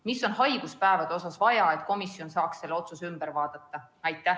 Mida on haiguspäevade kohta vaja, et komisjon oleks valmis selle otsuse üle vaatama?